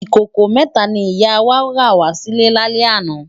Ikókó mètá ni ìyá wá rá wà silè lálè àná